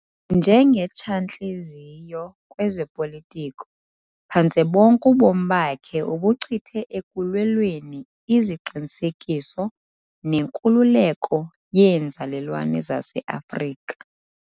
Njengetshantliziyo kwezopolitiko, phantse bonke ubomi bakhe ubuchithe ekulwelweni iziqinisekiso nenkululeko yeenzalelwane zaseAfrika.